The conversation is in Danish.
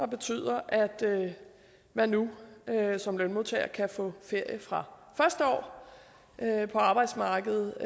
betyder at man nu som lønmodtager kan få ferie fra første år på arbejdsmarkedet